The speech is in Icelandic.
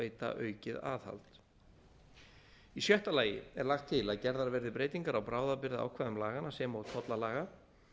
veita aukið aðhald í sjötta lagi er lagt til að gerða verði breytingar á bráðabirgðaákvæðum laganna sem og tollalaga